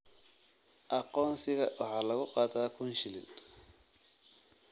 Aqoonsiga waxaa lagu qaataa kun shilin